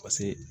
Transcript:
Paseke